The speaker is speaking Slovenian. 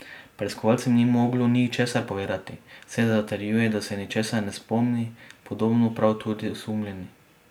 Preiskovalcem ni moglo ničesar povedati, saj zatrjuje, da se ničesar ne spomni, podobno pravi tudi osumljeni.